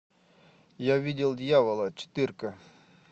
я видел дьявола четыре ка